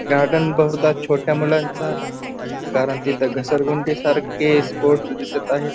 Garden बहुदा छोट्या मुलांचं आहे कारण तिथे घसरगुंडी सारखे स्पोर्ट दिसत आहे.